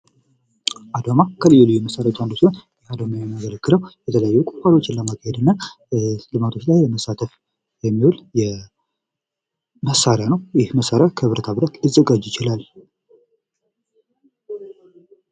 አዷማ ከልዩ ልዩ መሳሪያዎች መካከል አንዱ ሲሆን አዷማ የሚያገለግለው የተለያዩ ቁፋሮዎችን ለማድረግ እና ልማት ላት ለመሳተፍ የሚውል መሳሪያ ነው። ይህ መሳሪያ ከብረታብረት ሊዘጋጅ ይችላል።